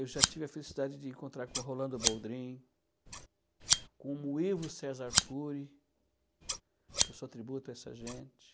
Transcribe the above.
Eu já tive a felicidade de encontrar com o Rolando Boldrin, com o Muíbo Cesar Cury, que eu sou tributo a essa gente.